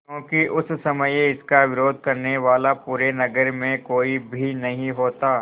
क्योंकि उस समय इसका विरोध करने वाला पूरे नगर में कोई भी नहीं होता